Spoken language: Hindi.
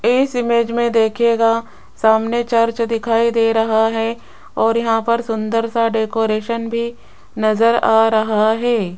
इस इमेज में देखिएगा सामने चर्च दिखाई दे रहा है और यहां पर सुंदर सा डेकोरेशन भी नजर आ रहा है।